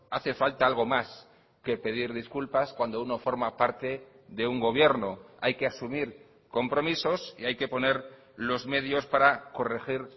hace falta algo más que pedir disculpas cuando uno forma parte de un gobierno hay que asumir compromisos y hay que poner los medios para corregir